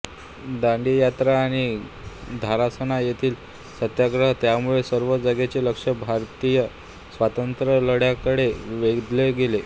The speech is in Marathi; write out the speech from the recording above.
दांडी यात्रा आणि धारासणा येथील सत्याग्रह यामुळे सर्व जगाचे लक्ष भारतीय स्वातंत्र्यलढ्याकडे वेधले गेले